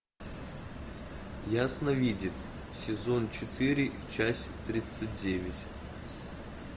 ясновидец сезон четыре часть тридцать девять